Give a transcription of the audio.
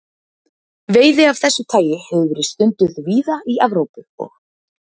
Veiði af þessu tagi hefur verið stunduð víða í Evrópu og